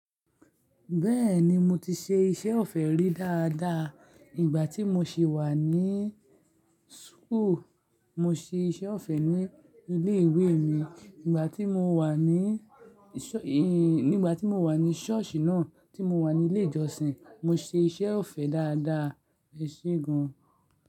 Bẹ́ẹ̀ni mo ti ṣe iṣẹ́ ọ̀fẹ́ rí dáadáa ìgbà tí mo ṣe wà ní school, mo ṣe iṣẹ́ ọ̀fẹ́ ní ilé ìwé mi, nígbà tí mo wà ní ṣọ́ọ̀ṣì náà tí mo wà ní ilé ìjọsìn, mo ṣe iṣẹ́ ọ̀fẹ́ dáadáa ẹ ṣe gan.